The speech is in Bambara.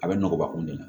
A bɛ nɔgɔya kun de la